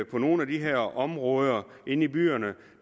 på nogle af de her områder inde i byerne